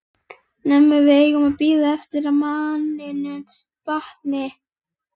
Nema við eigum að bíða eftir að manninum batni!